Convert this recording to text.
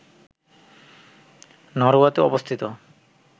নরওয়েতে অবস্থিত